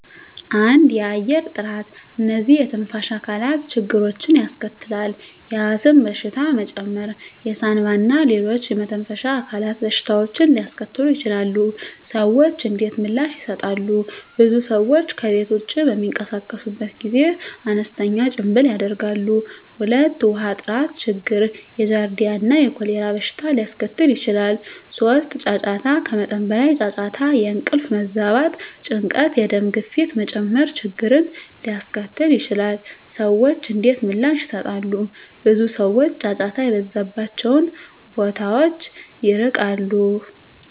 1. የአየር ጥራት *እነዚህ የትንፋሽ አካላት ችግሮችን ያስከትላል፣ የአስም በሽታ መጨመር የሳንባ እና ሌሎች የመተንፈሻ አካላት በሽታዎችን ሊያስከትሉ ይችላሉ። **ሰዎች እንዴት ምላሽ ይሰጣሉ? *ብዙ ሰዎች ከቤት ውጭ በሚንቀሳቀሱበት ጊዜ አነስተኛ ጭምብል ያደርጋሉ። 2. ውሃ ጥራት ችግር የጃርዲያ እና የኮሌራ በሽታ ሊያስከትል ይችላል። 3. ጫጫታ ከመጠን በላይ ጫጫታ የእንቅልፍ መዛባት፣ ጭንቀት፣ የደም ግፊት መጨመር ችግርን ሊያስከትል ይችላል። *ሰዎች እንዴት ምላሽ ይሰጣሉ? ብዙ ሰዎች ጫጫታ የበዛባቸውን ቦታዎች ይርቃሉ።